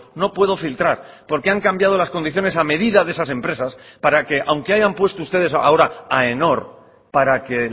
no puedo filtrar porque han cambiado las condiciones a medida de esas empresas para que aunque hayan puesto ustedes ahora aenor para que